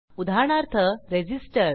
उदाहरणार्थ रेझिस्टर